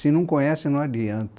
Se não conhecem, não adianta.